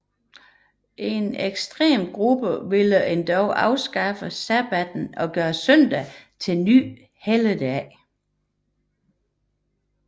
En ekstrem gruppe ville endog afskaffe sabbatten og gøre søndagen til ny helligdag